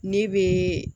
Ne bɛ